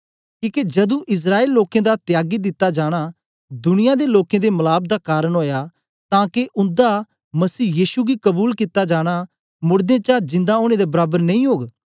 किके जदू इस्राएल दे लोकें दा त्यागी दिता जाना दुनिया दे लोकें दे मलाप दा कारन ओया तां के उन्दा मसीह यीशु गी कबूल कित्ता जाना मोड़दें चा जिंदा ओनें दे बराबर नेई ओग